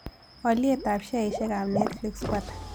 Alyetap sheaisiekap netflix ko ata